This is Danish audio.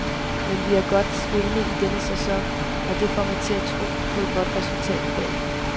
Men vi er godt spillende i denne sæson, og det får mig til at tro på et godt resultat i dag.